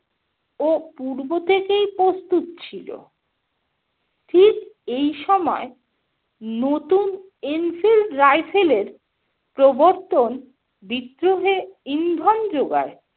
ও পূর্ব থেকেই প্রস্তুত ছিল। ঠিক এই সময় নতুন enfield rifle এর প্রবর্তন বিদ্রোহে ইন্ধন যোগায়।